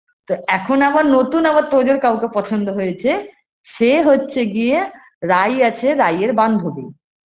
তো এখন আবার নতুন আবার তোজর কাউকে পছন্দ হয়েছে সে হচ্ছে গিয়ে রাই আছে রাই এর বান্ধবী